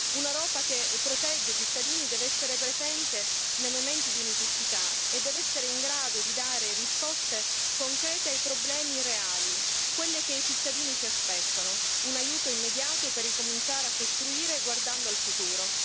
Un'Europa che protegge i cittadini deve essere presente nei momenti di necessità e deve essere in grado di dare risposte concrete ai problemi reali, quelle che i cittadini si aspettano, un aiuto immediato per ricominciare a costruire guardando al futuro.